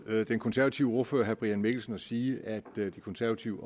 den konservative ordfører herre brian mikkelsen at sige at de konservative